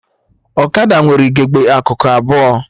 Ọkada nwere ugegbe akụkụ abụọ